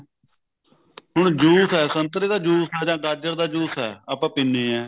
ਹੁਣ ਜੂਸ ਐ ਸੰਤਰੇ ਦਾ ਜੂਸ ਐ ਜਾ ਗਾਜਰ ਦਾ ਜੂਸ ਐ ਆਪਾਂ ਪੀਨੇ ਆ